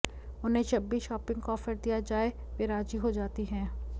उन्हें जब भी शॉपिंग का ऑफर दिया जाए वे राजी हो जाती हैं